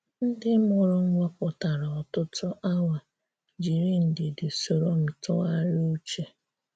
Ndị́ mụrụ́ m wepụtarà ọ̀tụ̀tù̀ awa jirì ndidi sorò m tụgharịà uchè.